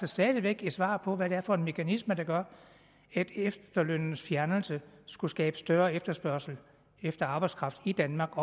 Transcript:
stadig væk et svar på hvad det er for en mekanisme der gør at efterlønnens fjernelse skulle skabe større efterspørgsel efter arbejdskraft i danmark